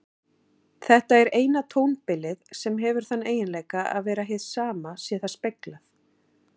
Þetta er eina tónbilið sem hefur þann eiginleika að vera hið sama sé það speglað.